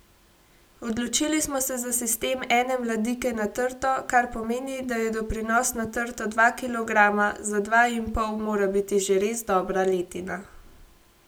Odločili smo se za sistem ene mladike na trto, kar pomeni, da je doprinos na trto dva kilograma, za dva in pol mora biti že res dobra letina.